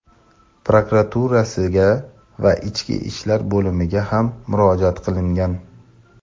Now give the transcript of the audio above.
prokuraturasiga va Ichki ishlar bo‘limiga ham murojaat qilingan.